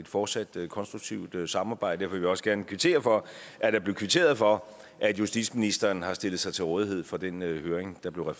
fortsat konstruktivt samarbejde vil jeg også gerne kvittere for at der blev kvitteret for at justitsministeren har stillet sig til rådighed for den høring der blev